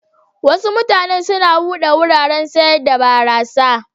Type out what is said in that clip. Wasu mutanen na bude wuraren sayar da barasa.